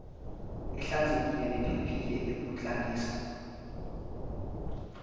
ehlanzekile nephephile ukuklelisa